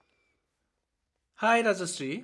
High, Rajashree.